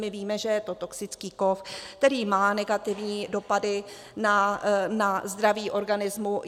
My víme, že je to toxický kov, který má negativní dopady na zdraví organismu.